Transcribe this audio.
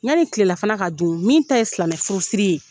Yani kilelafana ka dun min ta ye silamɛ furusiri ye.